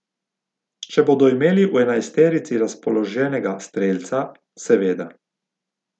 Če bodo imeli v enajsterici razpoloženega strelca, seveda.